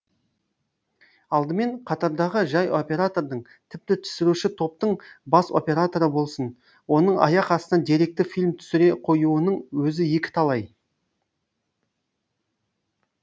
алдымен қатардағы жай оператордың тіпті түсіруші топтың бас операторы болсын оның аяқ астынан деректі фильм түсіре қоюының өзі екіталай